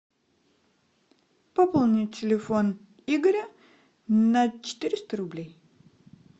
пополнить телефон игоря на четыреста рублей